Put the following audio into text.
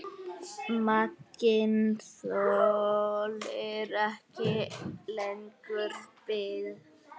Maginn þolir ekki lengur bið.